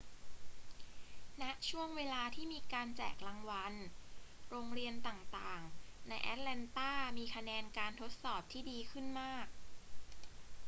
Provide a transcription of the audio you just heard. ณ ช่วงเวลาที่มีการแจกรางวัล โรงเรียนต่าง ๆ ในแอตแลนตามีคะแนนการทดสอบที่ดีขึ้นมาก